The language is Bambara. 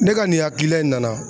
Ne ka nin hakilila in nana.